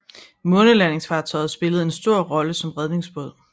Månelandingsfartøjet spillede en stor rolle som redningsbåd